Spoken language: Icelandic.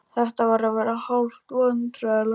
Þetta var að verða hálf vandræðalegt.